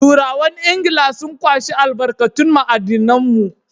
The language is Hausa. Turawan Ingila sun kwashi albarkatun ma'adinan mu.